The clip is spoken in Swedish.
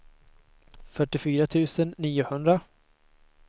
fyrtiofyra tusen niohundra